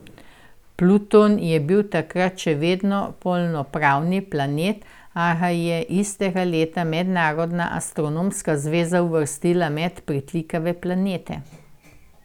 Pluton je bil takrat še vedno polnopravni planet, a ga je istega leta Mednarodna astronomska zveza uvrstila med pritlikave planete.